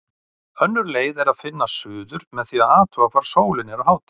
Önnur leið er að finna suður með því að athuga hvar sólin er á hádegi.